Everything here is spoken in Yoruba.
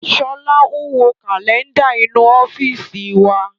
Sọlá ń wo Kálẹ́ndà inú ọ́fíìsì wa